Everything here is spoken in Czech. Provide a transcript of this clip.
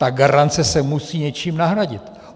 Ta garance se musí něčím nahradit.